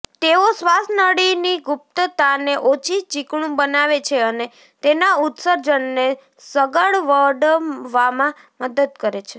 તેઓ શ્વાસનળીની ગુપ્તતાને ઓછી ચીકણું બનાવે છે અને તેના ઉત્સર્જનને સગવડવામાં મદદ કરે છે